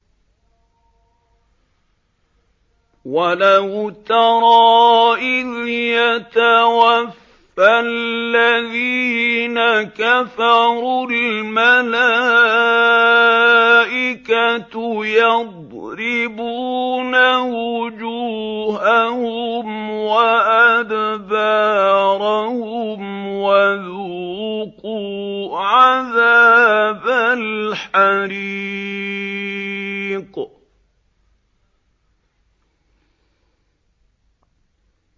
وَلَوْ تَرَىٰ إِذْ يَتَوَفَّى الَّذِينَ كَفَرُوا ۙ الْمَلَائِكَةُ يَضْرِبُونَ وُجُوهَهُمْ وَأَدْبَارَهُمْ وَذُوقُوا عَذَابَ الْحَرِيقِ